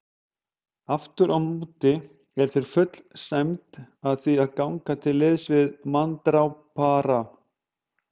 Afturámóti er þér full sæmd að því að ganga til liðs við manndrápara.